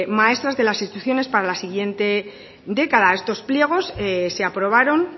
maestras de las instrucciones para la siguiente década estos pliegos se aprobaron